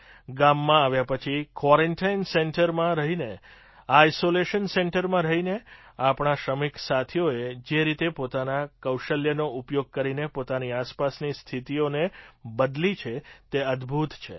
ગામમાં આવ્યા પછી ક્વૉરન્ટાઇન સેન્ટરમાં રહીને આઇસૉલેશન સેન્ટરમાં રહીને આપણા શ્રમિક સાથીઓએ જે રીતે પોતાના કૌશલ્યનો ઉપયોગ કરીને પોતાની આસપાસની સ્થિતિઓનેબદલી છે તે અદભૂત છે